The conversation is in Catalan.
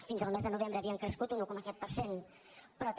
fins al mes de novembre havien crescut un un coma set per cent però també